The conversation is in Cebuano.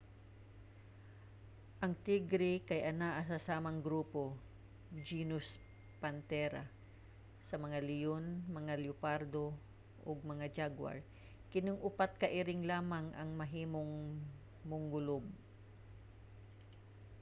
ang tigre kay anaa sa samang grupo genus panthera sa mga leyon mga leopardo ug mga jaguar. kining upat ka iring lamang ang mahimong mongulob